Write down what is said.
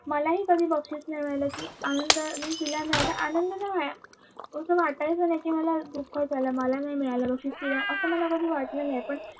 मालाही कधी बक्षीस नाही मिळालं कि आनंद तिला मिळालं तर आनंद आनंद नाय झाला वाटायचं नाही की मला दुःख दुःख झालं नाही मला बक्षीस नाही मिळालं अस मला कधी वाटल नाही